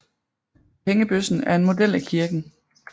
Pengebøssen er en model af kirken